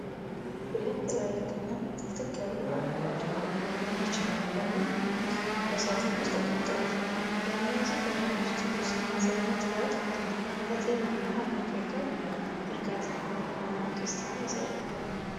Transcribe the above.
ሁለት ትላልቅ እና ጥቅጥቅ ያሉ አረንጓዴ የቻይና ጎመን በሳጥን ውስጥ ተቀምጠዋል። የእነዚህ ጎመኖች ትኩስነት እና ጥራት ለጤናማ አመጋገብ እርካታን እና ደስታን ያሳያል።